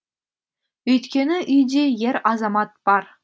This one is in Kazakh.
өйткені үйде ер азамат бар